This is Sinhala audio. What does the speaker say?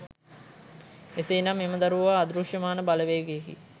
එසේ නම් එම දරුවා අදෘශ්‍යමාන බලවේගයකි